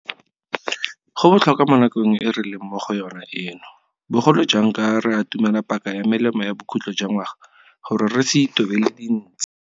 Go botlhokwa mo nakong e re leng mo go yona eno, bogolo jang ka re atumela paka ya melemo ya bokhutlho jwa ngwaga, gore re se itobele dintshi.